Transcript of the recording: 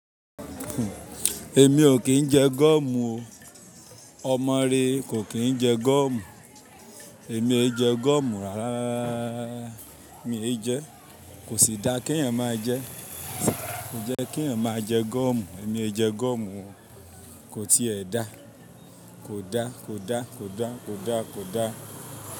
Èmi o ki n jẹ goọ̀mù o. Ọmọ rẹ kò ki n jẹ goọ̀mù. Èmi ẹ jẹ goọ̀mù, rárá rárá rárá mi ẹ jẹ kò sì da kí èèyàn máa jẹ, kò jẹ́ kí èyàn máa jẹ goọ̀mù. Èmi ẹ jẹ goọ̀mù kò tíì ẹ dá. Kò dá, kò dá, kò dá, kò dá, kò dá.